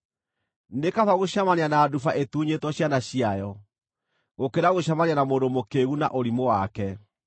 Nĩ kaba gũcemania na nduba ĩtunyĩtwo ciana ciayo gũkĩra gũcemania na mũndũ mũkĩĩgu na ũrimũ wake.